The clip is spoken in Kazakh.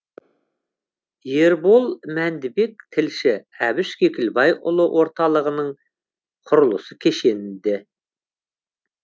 ербол мәндібек тілші әбіш кекілбайұлы орталығының құрылысы кешенді